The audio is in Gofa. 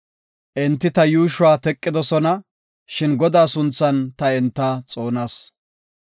Enti ta yuushuwa teqidosona; shin Godaa sunthan ta enta xoonas.